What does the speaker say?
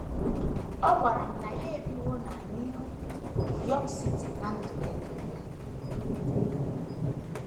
Ọ gwara m na ya ebiwo na New York City ná ndụ ya nile.